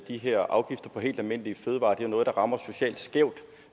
de her afgifter på helt almindelige fødevarer er noget der rammer socialt skævt